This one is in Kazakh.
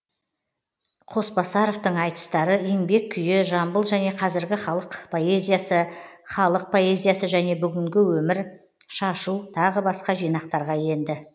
қосбасаровтың айтыстары еңбек күйі жамбыл және қазіргі халық поэзиясы халық поэзиясы және бүгінгі өмір шашу тағы басқа жинақтарға енді